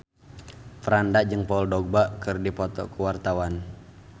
Franda jeung Paul Dogba keur dipoto ku wartawan